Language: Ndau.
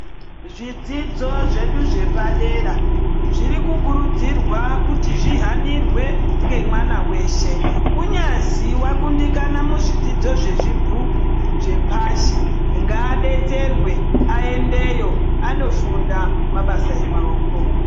Zvidzidzo zvedu zvepadera zviri kukurudzirwa kuti zvihanirwe ngemwana wese kunyazi wakundikana muzvidzidzo zvezvibhuku zvepashi ngaadetserwe aendeyo andofunda mabasa emaoko.